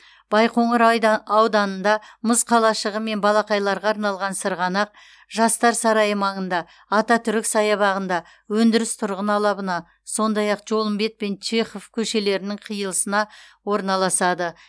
байқоңыр ауданында мұз қалашығы мен балақайларға арналған сырғанақ жастар сарайы маңында ататүрік саябағында өндіріс тұрғын алабына сондай ақ жолымбет пен чехов көшелерінің қиылысына орналасады